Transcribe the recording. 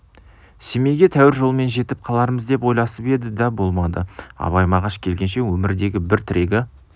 семейге тәуір жолмен жетіп қалармыз деп ойласып еді да болмады абай мағаш келгенше өмірдегі бір тірегі